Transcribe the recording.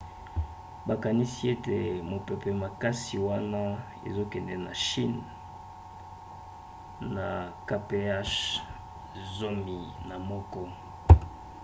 bakanisi ete mopepe makasi wana ezokende na chine na kph zomi na moko